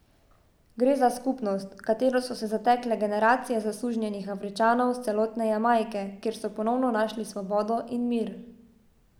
Gre za skupnost, v katero so se zatekle generacije zasužnjenih Afričanov s celotne Jamajke, kjer so ponovno našli svobodo in mir.